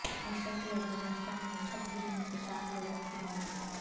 مشرقی افغانستان میں چھت گرنے سے سات لوگوں کی موت